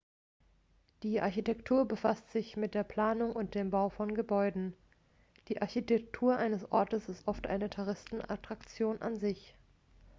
die architektur befasst sich mit der planung und dem bau von gebäuden die architektur eines ortes ist oft eine touristenattraktion an sich